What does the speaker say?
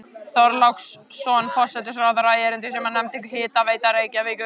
Þorláksson forsætisráðherra erindi sem hann nefndi Hitaveita Reykjavíkur.